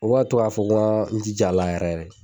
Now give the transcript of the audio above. U b'a ka to ka fɔ ko n ga jijala yɛrɛ